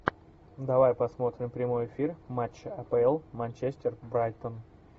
давай посмотрим прямой эфир матча апл манчестер брайтон